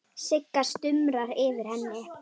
Sigga stumrar yfir henni.